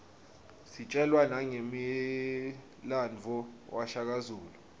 sitjelwa nangemlandvo washaka zulu